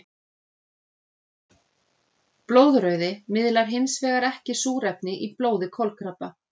Blóðrauði miðlar hinsvegar ekki súrefni í blóði kolkrabba.